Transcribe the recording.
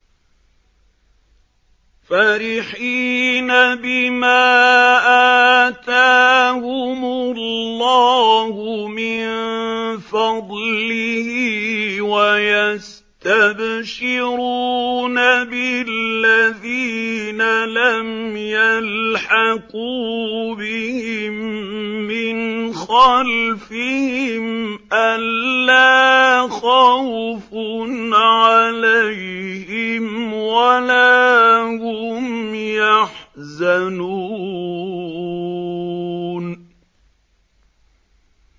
فَرِحِينَ بِمَا آتَاهُمُ اللَّهُ مِن فَضْلِهِ وَيَسْتَبْشِرُونَ بِالَّذِينَ لَمْ يَلْحَقُوا بِهِم مِّنْ خَلْفِهِمْ أَلَّا خَوْفٌ عَلَيْهِمْ وَلَا هُمْ يَحْزَنُونَ